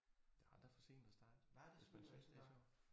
Det aldrig for sent at starte hvis man synes det sjovt